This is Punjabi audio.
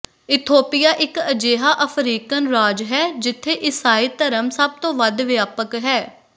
ਇਥੋਪੀਆ ਇੱਕ ਅਜਿਹਾ ਅਫਰੀਕਨ ਰਾਜ ਹੈ ਜਿੱਥੇ ਈਸਾਈ ਧਰਮ ਸਭ ਤੋਂ ਵੱਧ ਵਿਆਪਕ ਹੈ